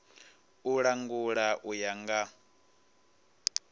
u langula u ya nga